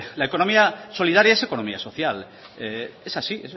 la economía solidaria es economía social es así